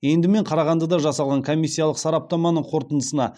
енді мен қарағандыда жасалған комиссиялық сараптаманың қорытындысына